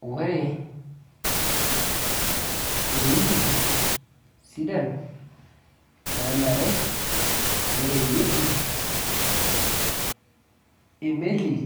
Ore iwoiting sidan nanare nereyieki emeli